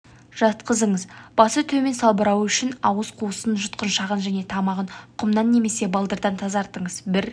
жатқызыңыз басы төмен салбырауы үшін ауыз қуысын жұтқыншағын және тамағын құмнан немесе балдырдан тазартыңыз бір